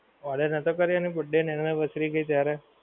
Order નતો કર્યો એણે birthday અને anniversary ગઈ ત્યારે.